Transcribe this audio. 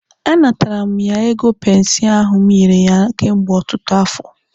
A natara mụ ya ego pensi ahụ m nyere ya kemgbe ọtụtụ afọ.